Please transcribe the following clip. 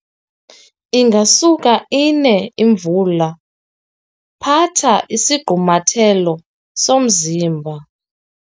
Ingasuka ine imvula, phatha isigqumathelo somzimba.